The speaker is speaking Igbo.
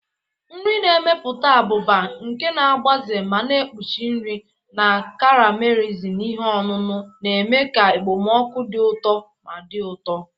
Nri na-emepụta abụba, nke na-agbaze ma na-ekpuchi nri, na caramelizing ihe ọṅụṅụ, na-eme ka ekpomeekpo dị ụtọ ma dị ụtọ.